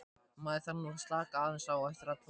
Maður þarf nú að slaka aðeins á eftir allan hasarinn.